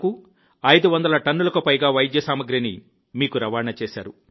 కూ 500 టన్నులకు పైగా వైద్య సామాగ్రిని మీకు రవాణా చేశారు